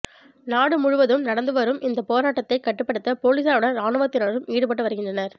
நாடு முழுவதும் நடந்து வரும் இந்த போராட்டத்தை கட்டுப்படுத்த போலீசாருடன் ராணுவத்தினரும் ஈடுபட்டு வருகின்றனர்